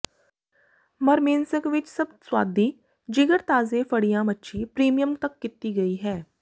Murmansk ਵਿੱਚ ਸਭ ਸੁਆਦੀ ਜਿਗਰ ਤਾਜ਼ੇ ਫੜਿਆ ਮੱਛੀ ਪ੍ਰੀਮੀਅਮ ਤੱਕ ਕੀਤੀ ਗਈ ਹੈ